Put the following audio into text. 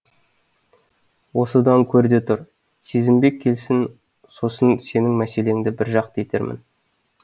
осыдан көр де тұр сезімбек келсін сосын сенің мәселеңді біржақты етермін